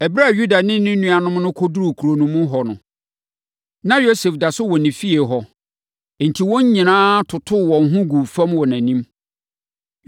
Ɛberɛ a Yuda ne ne nuanom no kɔduruu kuro no mu hɔ no, na Yosef da so wɔ ne fie hɔ. Enti, wɔn nyinaa totoo wɔn ho guu fam wɔ nʼanim.